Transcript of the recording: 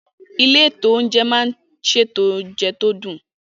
Ilé-ìtánjẹ máa n ṣètò oúnjẹ tó dùn